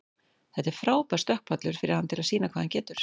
Þetta er frábær stökkpallur fyrir hann til þess sýna hvað hann getur.